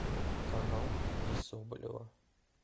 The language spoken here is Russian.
канал ильи соболева